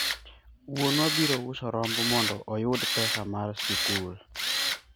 wuonwa biro uso rombo mondo oyud pesa mar sikul